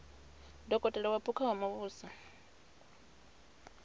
dokotela wa phukha wa muvhuso